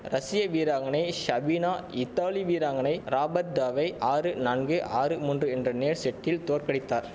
ரஷிய வீராங்கனை ஷபீனா இத்தாலி வீராங்கனை ராபர்டாவை ஆறு நான்கு ஆறு மூன்று என்ற நேர் செட்டில் தோற்கடித்தார்